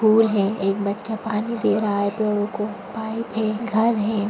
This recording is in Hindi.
फूल है एक बच्चा पानी दे रहा है पेड़ो को। पाइप है घर है।